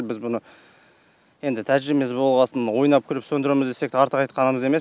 біз бұны енді тәжірибеміз болған соң ойнап күліп сөндіреміз десек те артық айтқанымыз емес